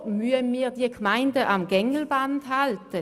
Weshalb müssen wir diese Gemeinden am Gängelband führen?